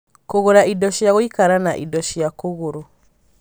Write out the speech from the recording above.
Kũgũra indo cia gũikara na indo cia kũgũrũ